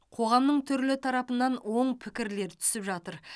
қоғамның түрлі тарапынан оң пікірлер түсіп жатыр